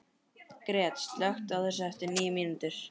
Gret, slökktu á þessu eftir níu mínútur.